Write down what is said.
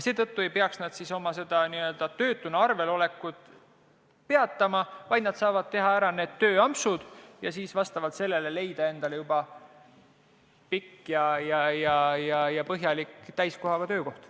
Seetõttu ei peaks nad oma töötuna arvel olekut peatama, vaid saavad teha ära need tööampsud ja siis edaspidi leida endale juba pikk ja põhjalik täisajaga töökoht.